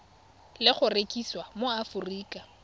le go rekisiwa mo aforika